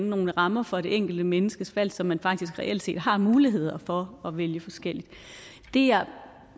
nogle rammer for det enkelte menneskes valg så man faktisk reelt set har muligheder for at vælge forskelligt